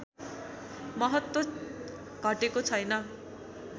महत्त्व घटेको छैन